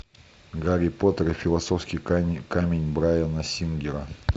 гарри поттер и философский камень брайана сингера